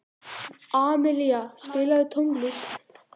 Amilía, spilaðu tónlist.